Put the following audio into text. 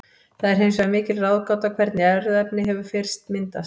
Það er hins vegar mikil ráðgáta hvernig erfðaefni hefur fyrst myndast.